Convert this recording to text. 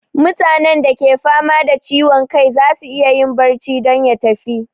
Mutane da ke fama da ciwon kai zasu iya barci don ya tafi